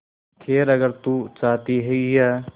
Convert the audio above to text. खैर अगर तू चाहती ही है